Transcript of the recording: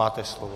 Máte slovo.